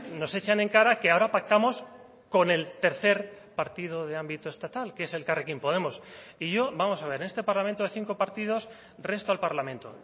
nos echan en cara que ahora pactamos con el tercer partido de ámbito estatal que es elkarrekin podemos y yo vamos a ver en este parlamento de cinco partidos resto al parlamento